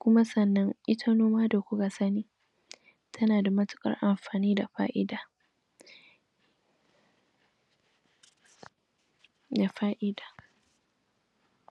kuma sannnan ita noma da kuka sani tana da matukar amfani da fa'ida da fa'ida